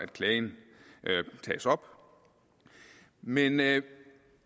klagen tages op men men